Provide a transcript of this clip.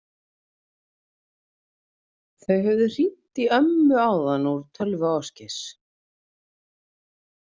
Þau höfðu hringt í ömmu áðan úr tölvu Ásgeirs.